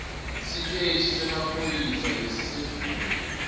siteshi semaphoyisa lesisedvute